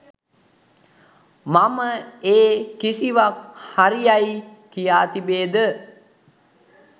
මම ඒ කිසිවක් හරි යයි කියා තිබේද?